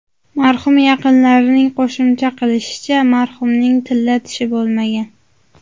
Marhum yaqinlarining qo‘shimcha qilishicha, marhumning tilla tishi bo‘lmagan.